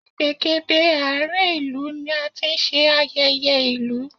Ìgbègéde àárín ìlú ni a ti ń ṣe ayẹyẹ ìlú